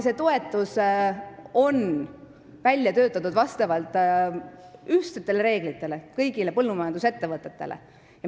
See toetus on välja töötatud kõigile põllumajandusettevõtetele, ühtsete reeglite alusel.